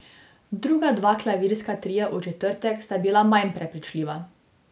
Druga dva klavirska tria v četrtek sta bila manj prepričljiva.